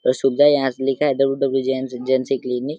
और सुविधा यहाँ लिखा है W W JNC. JNC. Clinic --